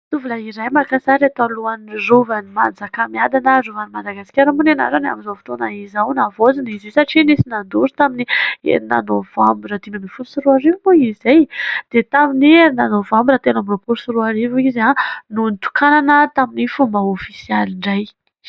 tovola iray mankasary iretoalohan'ny rovan'ny manjakamiadana rovan'ny madagaskara moana ianara ny amin'izao fotoana izao navoajina izy satria nisy nandory tamin'ny nina novambo ratim ay 1oty sy roario mo izay dia tamin'ni enina novamba ratela amy apory sy roarivo izy ah no nitokanana tamin'ny fomba ofisialy indray